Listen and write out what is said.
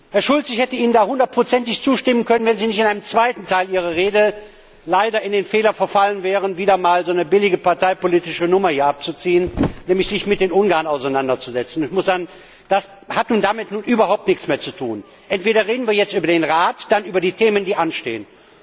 Herr Schulz, ich hätte Ihnen da hundertprozentig zustimmen können, wenn Sie nicht im zweiten Teil Ihrer Rede den Fehler begangen hätten, wieder einmal eine billige parteipolitische Nummer hier abzuziehen, nämlich sich mit den Ungarn auseinanderzusetzen. Das hat nun damit überhaupt nichts mehr zu tun, wir reden jetzt über den Rat und dann über die Themen, die anstehen.